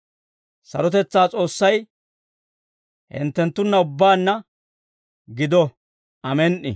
Sarotetsaa S'oossay hinttenttunna ubbaanna gido. Amen"i.